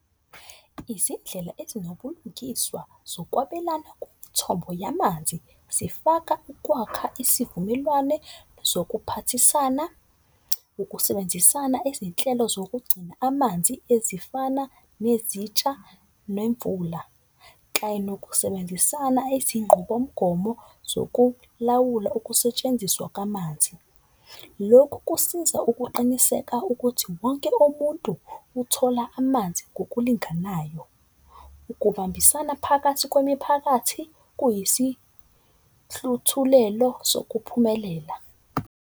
Izindlela ezinobulingiswa zokwabelana kumithombo yamanzi. Zifaka ukwakha isivumelwane zokuphathisana, ukusebenzisana izinhlelo zokugcina amanzi ezifana nezintsha nemvula. Kanye nokusebenzisana izinqubomgomo zokulawula ukusetshenziswa kamanzi. Lokhu kusiza ukuqiniseka ukuthi wonke umuntu uthola amanzi ngokulinganayo. Ukubambisana phakathi kwemiphakathi kuyisihluthulelo sokuphumelela.